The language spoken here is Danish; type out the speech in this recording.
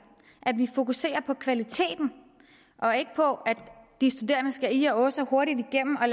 at vi fokuserer på kvaliteten og ikke på at de studerende skal ih og åh så hurtigt igennem og